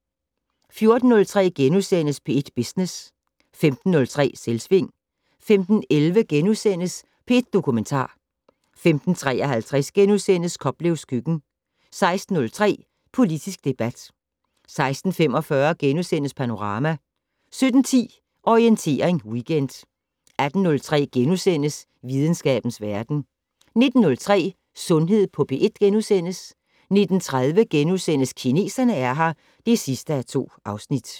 14:03: P1 Business * 15:03: Selvsving 15:11: P1 Dokumentar * 15:53: Koplevs køkken * 16:03: Politisk debat 16:45: Panorama * 17:10: Orientering Weekend 18:03: Videnskabens verden * 19:03: Sundhed på P1 * 19:30: Kineserne er her (2:2)*